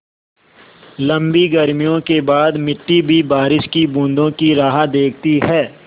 लम्बी गर्मियों के बाद मिट्टी भी बारिश की बूँदों की राह देखती है